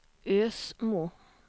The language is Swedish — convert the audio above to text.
Ösmo